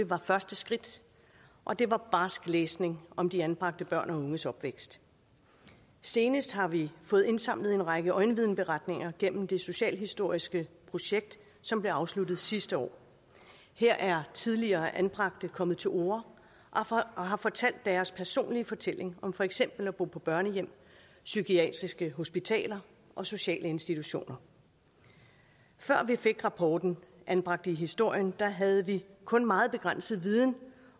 var første skridt og det var barsk læsning om de anbragte børn og unges opvækst senest har vi fået indsamlet en række øjenvidneberetninger gennem det socialhistoriske projekt som blev afsluttet sidste år her er tidligere anbragte kommet til orde og har fortalt deres personlige fortælling om for eksempel at bo på børnehjem psykiatriske hospitaler og sociale institutioner før vi fik rapporten anbragt i historien havde vi kun meget begrænset viden